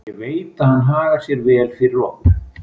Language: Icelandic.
Ég veit að hann hagar sér vel fyrir okkur.